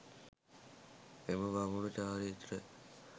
එම බමුණු චාරිත්‍ර